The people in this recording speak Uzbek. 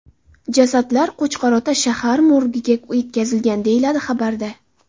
Jasadlar Qo‘chqor-Ota shahar morgiga yetkazilgan”, deyiladi xabarda.